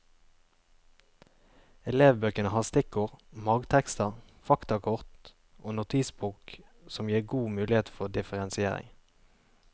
Elevbøkene har stikkord, margtekster, faktakort og notisbok som gir god mulighet for differensiering.